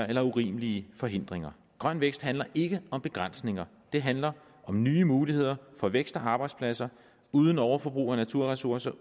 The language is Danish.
eller urimelige forhindringer grøn vækst handler ikke om begrænsninger det handler om nye muligheder for vækst og arbejdspladser uden overforbrug af naturressourcer